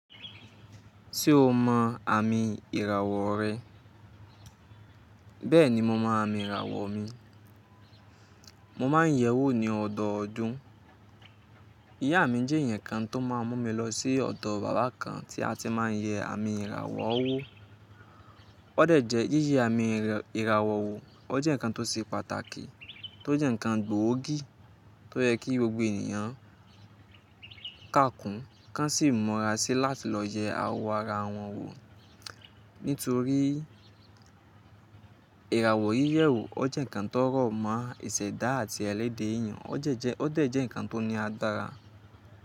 Ṣé o mọ àmì ìràwọ̀ rẹ? Bẹ́ẹ̀ni, mo mọ àmì ìràwọ̀ mi. Mo máa ń yẹ̀ ẹ́ wò ní ọ̀dọọdún. Ìyá mi jẹ́ èèyàn kan tó má a mún mi lọ sí ọ̀dọ̀ bàbá kan tí a ti máa ń yẹ àmì ìràwọ̀ wó. Ó dẹ̀ jẹ́ yíyẹ àmì ìràwọ̀ wó, ó jẹ́ nǹkan tó ṣe pàtàkì, tó jẹ́ nǹkan gbòógì tó yẹ kí gbogbo ènìyàn ká kùn, ká sì mọra sí láti lọ yẹ awó ara wọn wò. Nítorí ìràwọ̀ yíyẹ wò, ó jẹ́ nǹkan tó rọ̀ mọ́ ìṣẹ̀dá àti ẹlẹ́dà èèyàn. Ó dẹ̀ jẹ́ nǹkan tó ní adára.